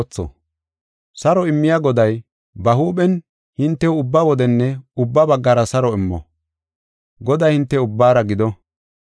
Saro immiya Goday, ba huuphen hintew ubba wodenne ubba baggara saro immo. Goday hinte ubbaara gido.